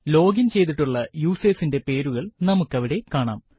login ചെയ്തിട്ടുള്ള യൂസേർസിന്റെ പേരുകൾ നമ്മുക്കവിടെ കാണാം